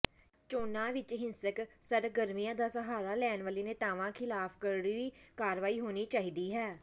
ਚੋਣਾਂ ਵਿੱਚ ਹਿੰਸਕ ਸਰਗਰਮੀਆਂ ਦਾ ਸਹਾਰਾ ਲੈਣ ਵਾਲੇ ਨੇਤਾਵਾਂ ਖਿਲਾਫ ਕਰੜੀ ਕਾਰਵਾਈ ਹੋਣੀ ਚਾਹੀਦੀ ਹੈ